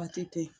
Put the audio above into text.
Waati tɛ